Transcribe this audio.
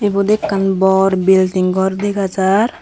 ebot ekan bor building gor degajar.